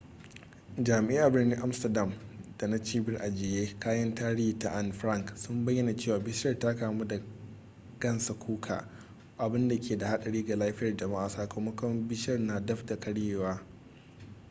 jami'ai a birnin amsterdam da na cibiyar ajiye kayan tarihi ta anne frank sun bayyana cewa bishiyar ta kamu da gansa kuka abinda ke da hadari ga lafiyar jama'a sakamakon bishiyar na daf da karyewa